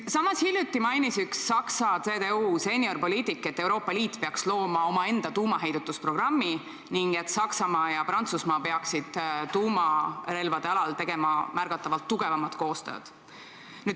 Samas hiljuti mainis üks Saksa CDU seeniorpoliitik, et Euroopa Liit peaks looma omaenda tuumaheidutusprogrammi ning et Saksamaa ja Prantsusmaa peaksid tuumarelvade alal tegema märgatavalt tugevamat koostööd.